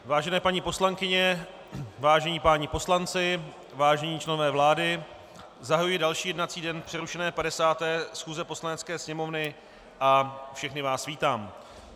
Vážené paní poslankyně, vážení páni poslanci, vážení členové vlády, zahajuji další jednací den přerušené 50. schůze Poslanecké sněmovny a všechny vás vítám.